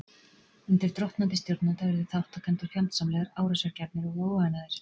Undir drottnandi stjórnanda urðu þátttakendur fjandsamlegir, árásargjarnir og óánægðir.